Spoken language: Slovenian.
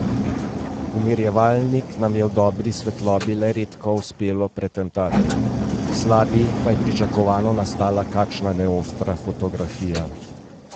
Umirjevalnik nam je v dobri svetlobi le redko uspelo pretentati, v slabi pa je pričakovano nastala kakšna neostra fotografija.